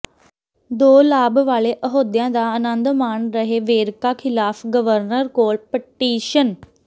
ਦੋ ਲਾਭ ਵਾਲੇ ਅਹੁਦਿਆਂ ਦਾ ਅਨੰਦ ਮਾਣ ਰਹੇ ਵੇਰਕਾ ਖਿਲਾਫ ਗਵਰਨਰ ਕੋਲ ਪਟੀਸ਼ਨ